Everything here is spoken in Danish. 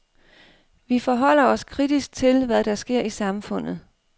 Vi forholder os kritisk til, hvad der sker i samfundet.